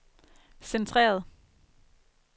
centreret